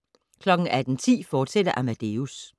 18:10: Amadeus, fortsat